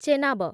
Chenab